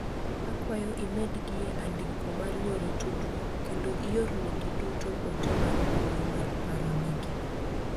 Akwayo imed gie andiko mar yore tudruok kendo iorne gi duto ote mar mbui mar paro ne gi